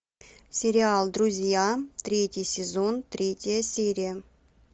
сериал друзья третий сезон третья серия